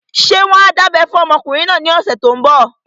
Ṣé wọ́n á dábẹ́ fún ọmọkùnrin náà ní ọ̀sẹ̀ tó n bọ̀?